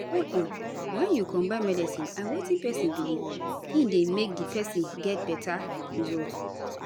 hold on wen u combine medicine and wetin pesin belief in dey make di person get beta result